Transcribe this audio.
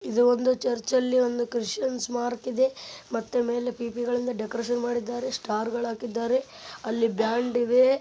ಒಂದು ಚರ್ಚಿನಲ್ಲಿ ಒಂದು ಕ್ರಿಶ್ಚಿಯನ್ಸ್ ಮಾರ್ಕ್ ಇದೆ ಮತ್ತೆ ಮೇಲೆ ಪಿಪಿಗಳಿಂದ ಡೆಕೋರೇಷನ್ ಮಾಡಿದ್ದಾರೆ ಸ್ಟಾರ್ಗಳು ಹಾಕಿದ್ದಾರೆ ಅಲ್ಲಿ ಬ್ಯಾಂಡ್ ಇದೆ.